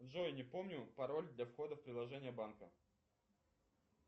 джой не помню пароль для входа в приложение банка